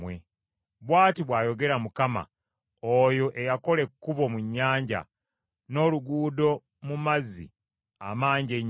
Bw’ati bw’ayogera Mukama , oyo eyakola ekkubo mu nnyanja, n’oluguudo mu mazzi amangi ennyo,